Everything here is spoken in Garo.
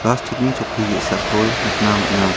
plastik ni chokki ge·sako nikna man·a.